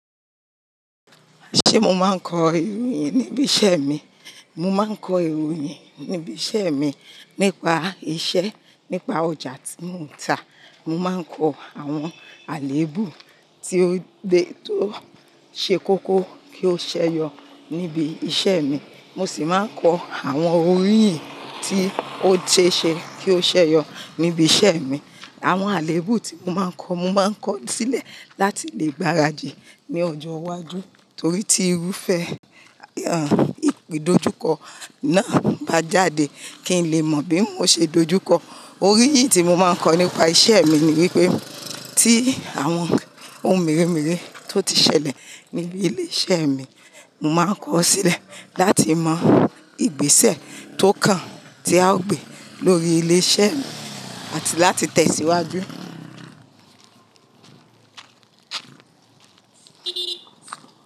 Ṣé mo máa ń kọ ìròyìn níbi iṣẹ́ mi? Mo máa ń kọ ìròyìn níbi iṣẹ́ mi nípa iṣẹ́, nípa ọjà tí mo ń ta. Mo máa ń kọ àwọn àléébù tí ó ṣe kókó kí ó ṣeyọ níbi iṣẹ́ mi. Mo sì máa ń kọ àwọn oríyìn tí ó ṣe é ṣe kí ó ṣeyọ níbi iṣẹ́ mi. Àwọn àléébù tí mo máa ń kọ, mo máa ń kọ sílẹ̀ láti lè gbáradì ní ọjọ́ iwájú torí tí irúfẹ́, à, ìpèdójúkọ náà bá jáde kí n lè mọ̀ bí mo ṣe dojúkọ. Oríyìí tí mo máa ń kọ nípa iṣẹ́ mi ni wípé tí àwọn ohun mèremère tó ti ṣẹlẹ̀ níbi ilé iṣẹ́ mi, mo máa ń kọ sílẹ̀ láti mọ ìgbésẹ̀ tó kàn tí à ó gbe lórí ilé iṣẹ́ mi àti láti tẹ̀síwájú.